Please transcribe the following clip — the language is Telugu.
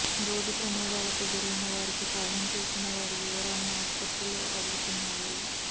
రోడ్డు ప్రమాదాలకు గురైన వారికి సాయం చేసిన వారి వివరాలను ఆస్పత్రులు అడుగుతున్నాయి